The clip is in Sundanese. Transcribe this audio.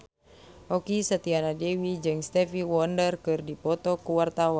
Okky Setiana Dewi jeung Stevie Wonder keur dipoto ku wartawan